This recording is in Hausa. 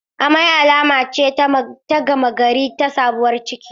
Amai alama ce ta gama gari ta sabuwar ciki.